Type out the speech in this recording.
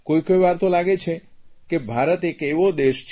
કોઇ કોઇ વાર તો લાગે છે કે ભારત એક એવો દેશ છે